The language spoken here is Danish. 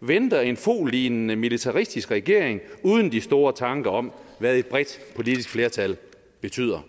venter en foghlignende militaristisk regering uden de store tanker om hvad et bredt politisk flertal betyder